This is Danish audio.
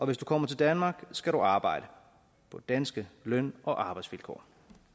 hvis du kommer til danmark skal du arbejde på danske løn og arbejdsvilkår